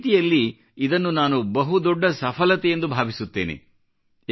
ಒಂದು ರೀತಿಯಲ್ಲಿ ಇದನ್ನು ನಾನು ಬಹುದೊಡ್ಡ ಸಫಲತೆಯೆಂದು ಭಾವಿಸುತ್ತೇನೆ